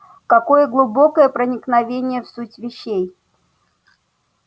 какое глубокое проникновение в суть вещей